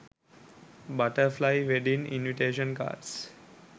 butterfly wedding invitation cards